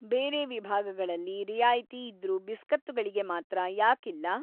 ಬೇರೆ ವಿಭಾಗಗಳಲ್ಲಿ ರಿಯಾಯಿತಿ‌ ಇದ್ರೂ ಬಿಸ್ಕತ್ತುಗಳಿಗೆ ಮಾತ್ರ ಯಾಕಿಲ್ಲ?